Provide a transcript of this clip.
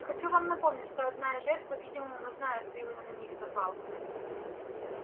хочу вам напомнить что одна из жертв по-видимому знает кто именно на них напал